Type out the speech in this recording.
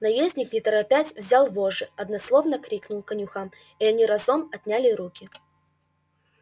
наездник не торопясь взял вожжи однословно крикнул конюхам и они разом отняли руки